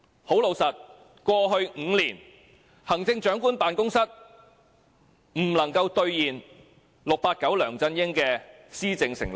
很老實說，過去5年，行政長官辦公室沒有兌現 "689" 梁振英的施政承諾。